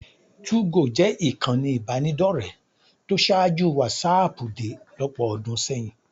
2go jẹ́ ìkànnì ìbánidọ́rẹ̀ẹ́ tó ṣáájú wásaàpù dé lọ́pọ̀ ọdún sẹ́yìn.